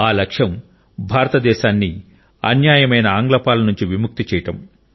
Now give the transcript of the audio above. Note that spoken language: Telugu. ఆ లక్ష్యం భారతదేశాన్ని అన్యాయమైన ఆంగ్ల పాలన నుండి విముక్తి చేయడం